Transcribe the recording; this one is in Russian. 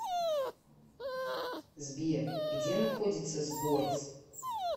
сбер где находится сборц